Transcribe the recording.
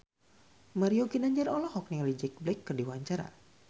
Mario Ginanjar olohok ningali Jack Black keur diwawancara